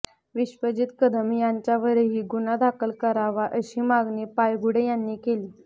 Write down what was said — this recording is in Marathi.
विश्वजीत कदम यांच्यावरही गुन्हा दाखल करावा अशी मागणी पायगुडे यांनी केली